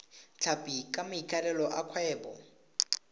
tlhapi ka maikaelelo a kgwebo